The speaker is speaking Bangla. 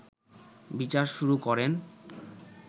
বিচার শুরু করেন